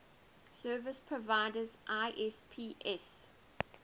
service providers isps